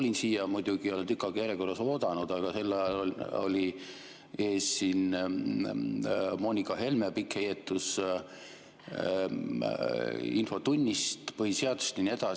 Kui ma siia tulin – ma muidugi ei ole tükk aega järjekorras oodanud –, oli siin ees Moonika Helme pikk heietus infotunnist, põhiseadusest ja nii edasi.